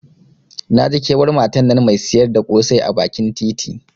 Naji kewar matan nan Mai siyar da kosai a bakin titi.